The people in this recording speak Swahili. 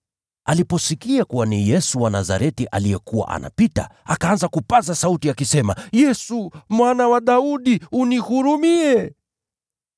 Aliposikia kuwa ni Yesu wa Nazareti aliyekuwa anapita, akaanza kupaza sauti akisema, “Yesu, Mwana wa Daudi, nihurumie!”